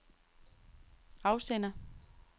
afsender